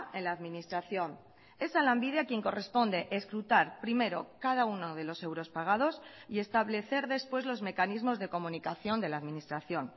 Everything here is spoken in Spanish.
en la administración es a lanbide a quien corresponde escrutar primero cada uno de los euros pagados y establecer después los mecanismos de comunicación de la administración